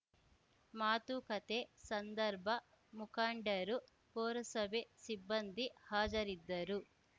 ಮಾತುಕತೆ ಸಂದರ್ಭ ಮುಖಂಡರು ಪೂರಸಭೆ ಸಿಬ್ಬಂದಿ ಹಾಜರಿದ್ದರು